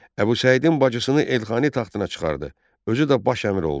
Əbu Səidin bacısını Elxani taxtına çıxardı, özü də baş əmir oldu.